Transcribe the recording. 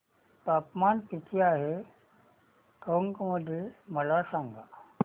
तापमान किती आहे टोंक मध्ये मला सांगा